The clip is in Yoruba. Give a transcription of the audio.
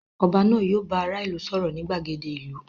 Oba náà yio bá ará ìlú sòrò ni gbàgede ìlú